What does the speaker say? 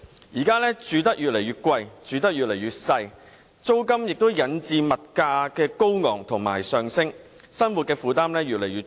現時住屋越來越貴，越來越小，租金高企引致物價上升，生活負擔越來越重。